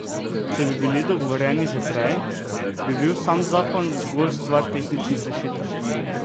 Če bi bili dogovorjeni že prej, bi bil sam zakon zgolj stvar tehničnih rešitev.